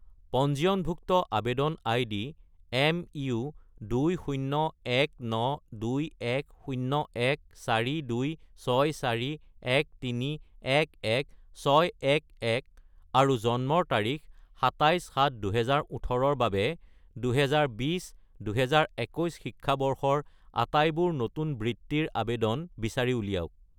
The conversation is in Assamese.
পঞ্জীয়নভুক্ত আবেদন আইডি MU2019210142641311611 আৰু জন্মৰ তাৰিখ 27-7-2018 -ৰ বাবে 2020 - 2021 শিক্ষাবৰ্ষৰ আটাইবোৰ নতুন বৃত্তিৰ আবেদন বিচাৰি উলিয়াওক।